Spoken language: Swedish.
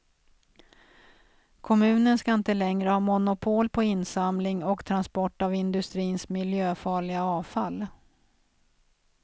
Kommunen ska inte längre ha monopol på insamling och transport av industrins miljöfarliga avfall.